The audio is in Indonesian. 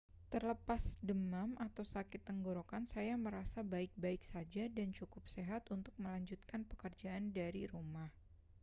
terlepas demam atau sakit tenggorokan saya merasa baik-baik saja dan cukup sehat untuk melanjutkan pekerjaan dari rumah